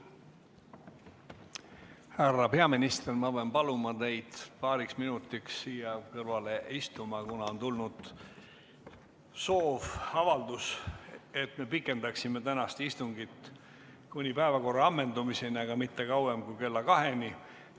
Härra peaminister, ma pean paluma teid paariks minutiks siia kõrvale istuma, kuna on tulnud avaldus, et me pikendaksime tänast istungit kuni päevakorra ammendumiseni, aga mitte kauem kui kella 14-ni.